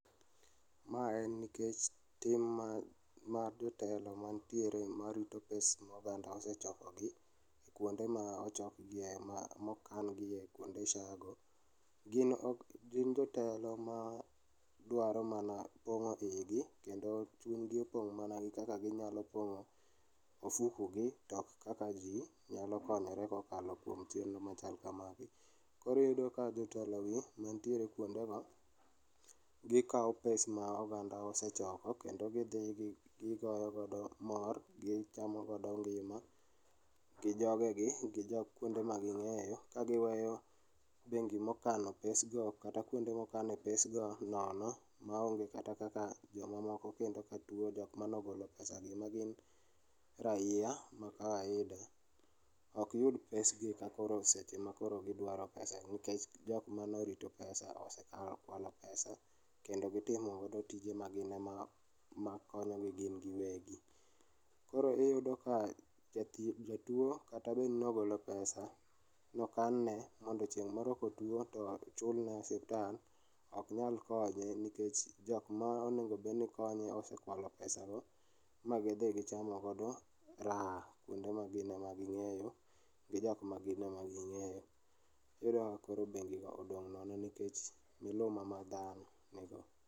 Mae en nikech tim ma, ma jotelo mantiere marito pes ma oganda osechoko gi kuonde ma ochok gie ma okan gie kuonde SHA go. Gin jotelo madwaro mana pongo igi kendo chunygi opong' mana gi kaka ginyalo pongo ofuku gi to ok kaka jii nyalo konyore kokalo chenro machal kamagi. Koro iyudo ka jotelo gi mantie kuonde go gikao pes ma oganda osechoko kendo gidhi gigoyo godo mor, gichamo godo ngima gi jogegi, gi jok, kuonde ma gingeyo ka giweyo bengi mokano pes go kata kuonde mokane pes go nono maonge kata kaka joma moko kendo ka tuo, jokmane ogolo pesa gi magin raia ma kawaida ok yud pes gi sama koro gidwaro pesa nikech jokmane orito pesa osekao, okwalo pesa kendo gitimo tije ma gin ema konyogi gin giwegi. Koro iyudo ka jathieth, jatuo kata bed ni nogolo pesa, nokan ne mondo chieng' moro kotuo to chulne osiptal ,ok nyal konye nikech jokma onego bedni konye osekwalo pesa go ma gidhi gichamo go raha kuonde ma gin ema gi ng'eyo gi jok ma gin ema ging'eyo. Iyudo ka bengi go odong' nono nikech miluma ma dhano ni go